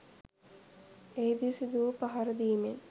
එහිදී සිදුවූ පහරදීමෙන්